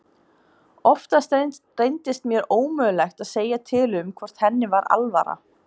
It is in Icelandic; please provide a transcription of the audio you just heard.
Oftast reyndist mér ómögulegt að segja til um hvort henni var alvara.